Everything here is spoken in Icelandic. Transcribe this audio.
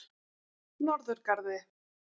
Norðurgarði